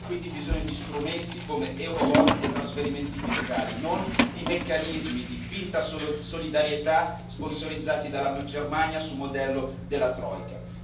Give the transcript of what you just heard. Abbiamo quindi bisogno di strumenti come Eurobond e trasferimenti fiscali, non di meccanismi di finta solidarietà sponsorizzati dalla Germania su modello della troika.